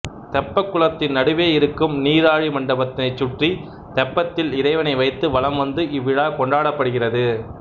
தெப்பக்குளத்தின் நடுவே இருக்கும் நீராழி மண்டபத்தினைச் சுற்றி தெப்பத்தில் இறைவனை வைத்து வலம் வந்து இவ்விழா கொண்டாடப்படுகிறது